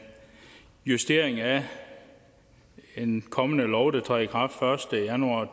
justering af en kommende lov der træder i kraft den første januar